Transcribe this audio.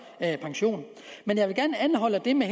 pension men jeg vil gerne anholde det med